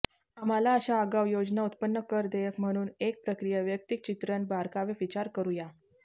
आम्हाला अशा आगाऊ योजना उत्पन्न कर देयक म्हणून एक प्रक्रिया व्यक्तिचित्रण बारकावे विचार करू या